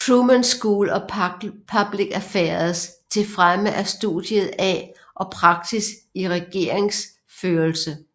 Truman School of Public Affairs til fremme af studiet af og praksis i regeringsførelse